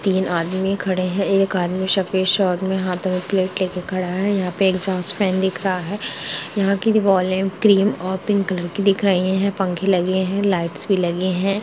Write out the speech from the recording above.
तीन आदमी खड़े हैं एक आदमी सफ़ेद शर्ट में हाथ में प्लेट लेके खड़ा है यहाँ पे इग्ज़ॉस्ट फैन दिख रहा है यहाँ की दिवारे क्रीम और पिंक कलर की दिख रही है पंखे लगे है लाइट्स भी लगे है।